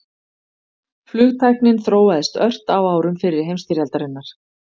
Flugtæknin þróaðist ört á árum fyrri heimsstyrjaldarinnar.